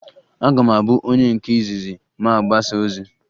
Aga m abụ onye nke izizi ma a gbasịa ọsọ